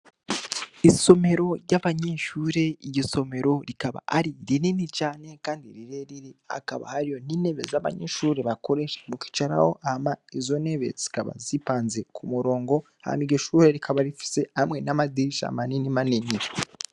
Isomero ry'abanyinshure irgisomero rikaba ari rinini cane, kandi rirerire akaba haryo ntinebe z'abanyinshuri bakoreshe mukicaraho ama izonebezikaba zipanze ku murongo hama igishure rikaba rifise hamwe n'amadirisha manini manini.